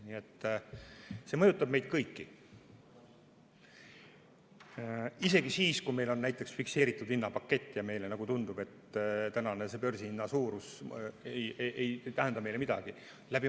Nii et see mõjutab meid kõiki, isegi siis, kui meil on fikseeritud hinnapakett ja meile tundub, et tänane börsihind ei tähenda meile midagi.